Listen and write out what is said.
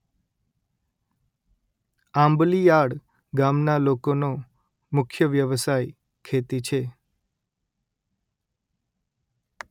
આંબલીયાળ ગામના લોકોનો મુખ્ય વ્યવસાય ખેતી છે